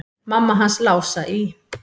Mamma hans Lása í